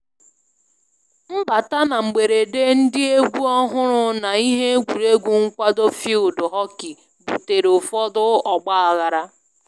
Mbata na mgberede ndị egwu ọhụrụ na ihe egwuregwu nkwado field hockey butere ụfọdụ ọgbaghara